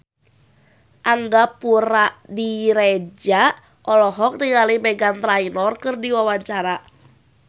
Angga Puradiredja olohok ningali Meghan Trainor keur diwawancara